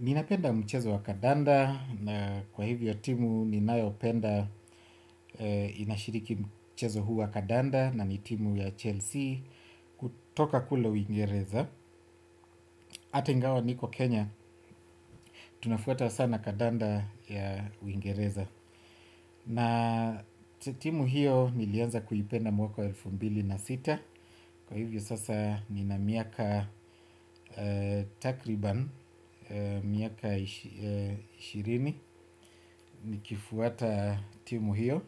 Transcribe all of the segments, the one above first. Ni napenda mchezo wa Kadanda na kwa hivyo timu ninayopenda inashiriki mchezo huu wa Kadanda na ni timu ya Chelsea kutoka kule uingereza hata ingawa niko Kenya tunafuata sana Kadanda ya uingereza. Na timu hiyo nilianza kuipenda mwaka elfu mbili na sita. Kwa hivyo sasa ni na miaka Takriban Miaka ishirini nikifuata timu hiyo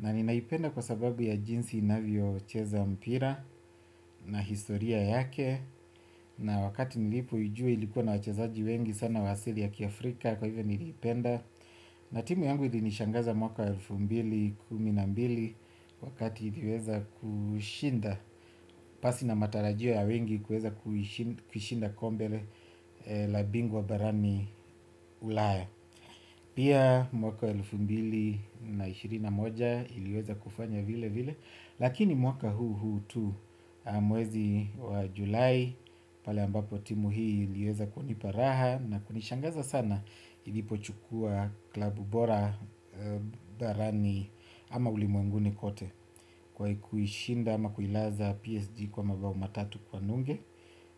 na ninaipenda kwa sababu ya jinsi inavyo cheza mpira. Na historia yake na wakati nilipoijua ilikuwa na wachezaji wengi sana wa asili ya kiafrika. Kwa hivyo nilipenda. Na timu yangu ili nishangaza mwaka elfu mbili na mbili mbili wakati iliweza kushinda. Pasi na matarajio ya wengi kuweza kushinda kombe la bingwa barani ulaya. Pia mwaka elfumbili na ishirini na moja iliweza kufanya vile vile. Lakini mwaka huu huu tu mwezi wa july. Pala ambapo timu hii iliweza kuniparaha na kunishangaza sana ili pochukua klabu bora barani ama ulimwenguni kote. Kwa kuishinda ama kuilaza PSG kwa mabao matatu kwa nunge.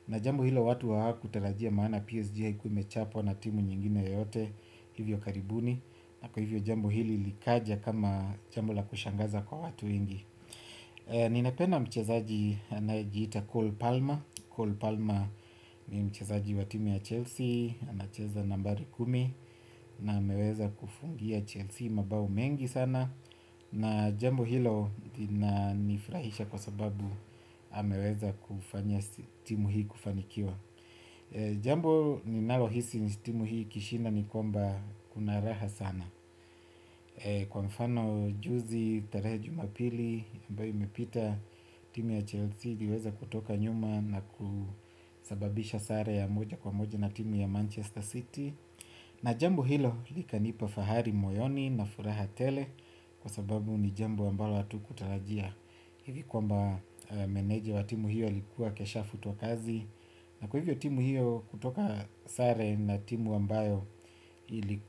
Na jambo hilo watu hawa kutarajia maana PSG haikuwa imechapwa na timu nyingine yote. Hivyo karibuni. Na kwa hivyo jambo hili likaja kama jambo la kushangaza kwa watu wengi. Ninapenda mchezaji anayejiita Cole Palmer Cole Palmer ni mchezaji wa timu ya Chelsea. Anacheza nambari kumi. Na ameweza kufungia Chelsea mabao mengi sana. Na jambo hilo linanifurahisha kwa sababu ameweza kufanya timu hii kufanikiwa. Jambo ninalo hisi timu hili ikishinda nikwamba kuna raha sana. Kwa mfano juzi, tarehe ya jumapili, ambayo imepita timu ya Chelsea iliweza kutoka nyuma na kusababisha sare ya moja kwa moja na timu ya Manchester City. Na jambo hilo likanipa Fahari Moyoni na Furaha Tele. Kwa sababu ni jambo ambalo watu kutarajia hivi kwamba meneja wa timu hiyo alikuwa kesha futwa kazi. Na kwa hivyo timu hiyo kutoka sare na timu ambayo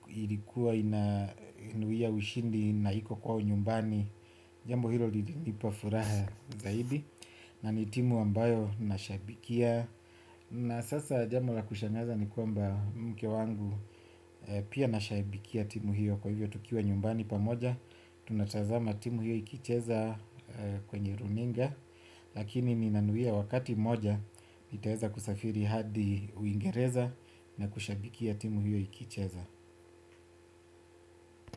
ilikuwa ina nuia ushindi na iko kwao nyumbani. Jambo hilo lilinipa furaha zaidi. Na ni timu ambayo nashabikia. Na sasa jambo la kushangaza ni kwamba mke wangu pia anashabikia timu hiyo. Kwa hivyo tukiwa nyumbani pamoja. Tunatazama timu hiyo ikicheza kwenye runinga. Lakini ni nanuia wakati mmoja nitaweza kusafiri hadi uingereza na kushabikia timu hiyo ikicheza.